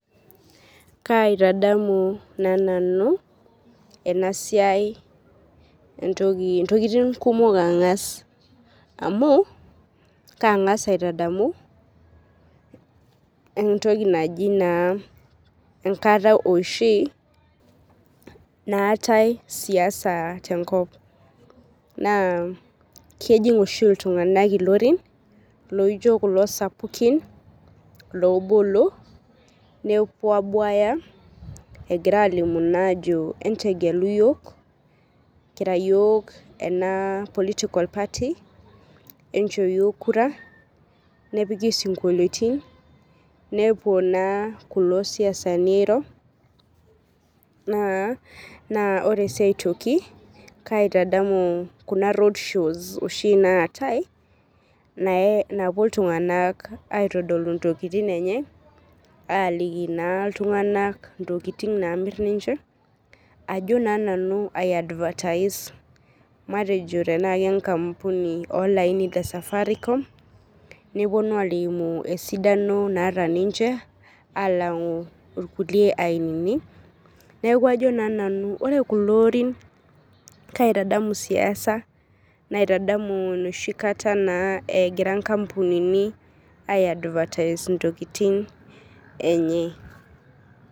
Kaitadamu na nanu enasiai ntokitin kumok angas amu kangas aitadamu entoki naji rnkata oshi naatae siasa tenkop na kejing oshi ltunganak irorin laijjo kulo sapukin lobolo nepuo abuaya egira alimu ajo entegelu yiok kira yiok ena political party nisho yiol kura nepuki sinkolioni nepuo kulo siasani airo na ore si aotoki kaitadamu kuna road shows naata napuo ltunganak aitadolu ntokitin enye aliki ltunganak ntokitin namir ninch ajo na nanu ai advertise matejo tana ke nkampuni e Safaricom neponu alimu esidano naata ninche alangu nkulie ainini neaku ajo na nanu ore kulo orin kaitadamu siasa naitadamu enoshi kata egira nkampunini ai advertise ntokitin enye.